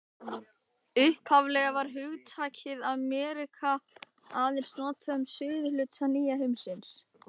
Upphaflega var hugtakið Ameríka aðeins notað um suðurhluta nýja heimsins.